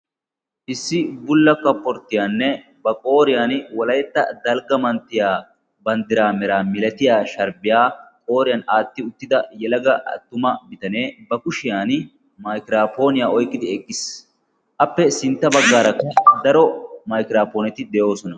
issi bulla kaporttiyaanne ba qooriyan wolaytta dalgga manttiya banddiraa mera milatiya sharbbiyaa qooriyan aatti uttida yalaga attuma bitanee ba kushiyan maikiraapooniyaa oyqqidi eqqiis. appe sintta baggaara daro maikiraapponeti de'oosona.